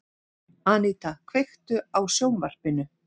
Aníta, kveiktu á sjónvarpinu.